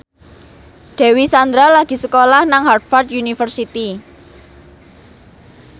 Dewi Sandra lagi sekolah nang Harvard university